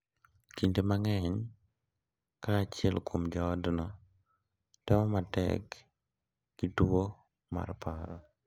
Kinde mang’eny, ka achiel kuom jo otno temo matek gi tuwo mar paro, .